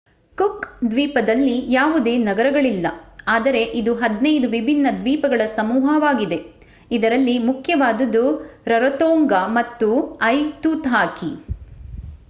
cook ದ್ವೀಪದಲ್ಲಿ ಯಾವುದೇ ನಗರಗಳಿಲ್ಲ ಆದರೆ ಇದು 15 ವಿಭಿನ್ನ ದ್ವೀಪಗಳ ಸಮೂಹವಾಗಿದೆ ಇದರಲ್ಲಿ ಮುಖ್ಯವಾದುದು ರರೊತೊಂಗಾ ಮತ್ತು ಐತುತಾಕಿ